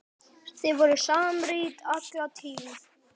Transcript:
Þið voruð samrýnd alla tíð.